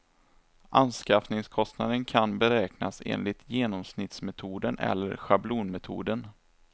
Anskaffningskostnaden kan beräknas enligt genomsnittsmetoden eller schablonmetoden.